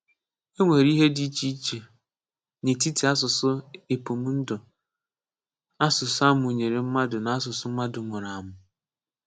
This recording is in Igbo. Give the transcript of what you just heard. È nwèrè ihe dị iche n’etiti asụ̀sụ́ épụ̀mndụ̀ / asụ̀sụ́ a mụ̀nyere mmadụ na asụ̀sụ́ mmadụ mùrù àmụ́.